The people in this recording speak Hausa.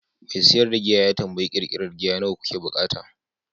mai siyar da giya ya tambayi ƙirƙirar giya nawa kuke buƙata?